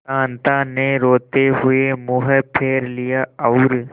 कांता ने रोते हुए मुंह फेर लिया और